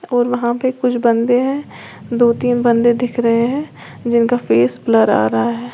और वहां पे कुछ बंदे हैं दो तीन बंदे दिख रहे हैं जिनका फेस ब्लर आ रहा है।